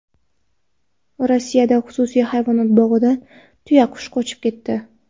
Rossiyada xususiy hayvonot bog‘idan tuyaqush qochib ketdi.